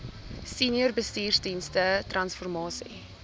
senior bestuursdienste transformasie